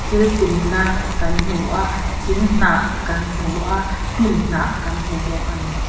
thil pinna kan hmu a thing hnah kan hmu a hnim hnah kan hmu bawk ani.